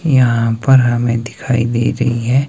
यहां पर हमें दिखाई दे रही है।